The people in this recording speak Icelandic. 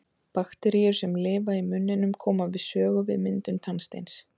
Bakteríur sem lifa í munninum koma við sögu við myndum tannsteins.